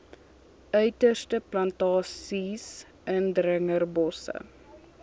uiterstes plantasies indringerbosse